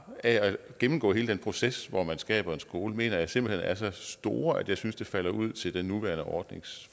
ved at gennemgå hele den proces hvor man skaber en skole mener jeg simpelt hen er så store at jeg synes at det falder ud til den nuværende ordnings